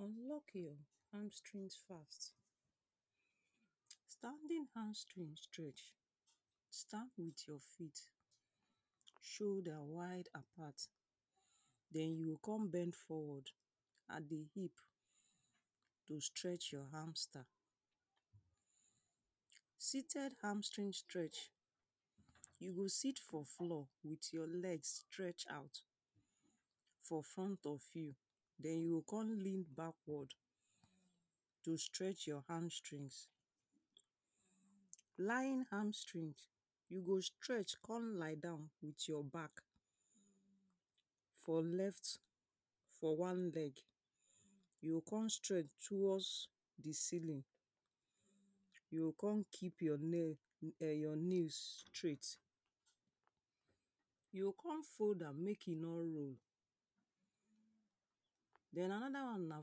I'm luck hamstring fast. Standing hamstring stretch, stand with your feet shoulder wide apart. Den you go con bend forward at the hip to stretch your hamster Seated hamstring stretch you go sit for floor with your legs stretched out for front of you. Den you go con lean backward to stretch your hamstring. lying hamstring, you go stretch con lie down with your back for left for one leg. You o con stretch towards the ceiling. You o con keep your leg um your knee straight. You o con fold am make e no roll. Den another one na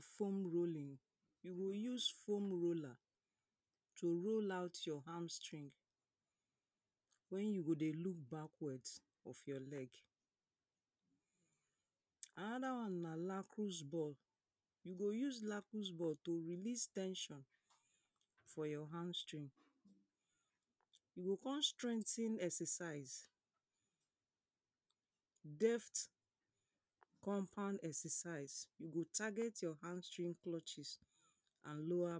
foam rolling. You go use foam roller to roll out your hamstring when you go dey look backward of your leg. Another one na lacrosse ball. You go use lacrosse ball to release ten sion for your hamstring. You go con strengthen exercise. Deft compound exercise. You go target your hamstring clutches and lower